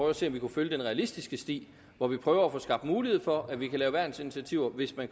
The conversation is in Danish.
at se om vi kunne følge den realistiske sti hvor vi prøver at få skabt mulighed for at vi kan lave værnsinitiativer hvis vi